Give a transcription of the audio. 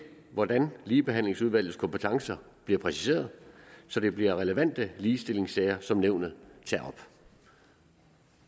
hvordan ligebehandlingsnævnets kompetencer bliver præciseret så det bliver relevante ligestillingssager som nævnet tager op